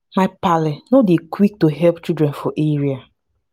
my paale no dey quik to helep children for area.